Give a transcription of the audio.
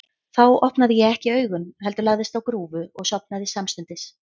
Þá opnaði ég ekki augun, heldur lagðist á grúfu og sofnaði samstundis.